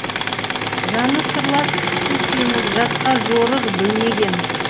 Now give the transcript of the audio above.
жаны сырлас кісі сеніп жатқа жорыр білмеген